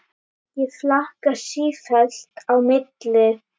Ég flakka sífellt á milli.